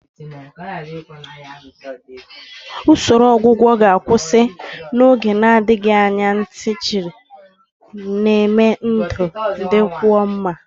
Usoro ọgwụgwọ ka mma ga-akwụsị n'oge na-adịghị anya ntị chiri, na-eme ka ndụ dịkwuo mma.